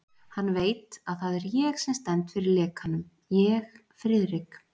Hann veit, að það er ég sem stend fyrir lekanum ég, Friðrik